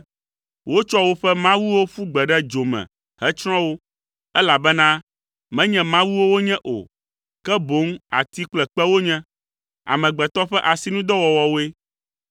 Wotsɔ woƒe mawuwo ƒu gbe ɖe dzo me hetsrɔ̃ wo, elabena menye mawuwo wonye o, ke boŋ ati kple kpe wonye, amegbetɔ ƒe asinudɔwɔwɔwoe.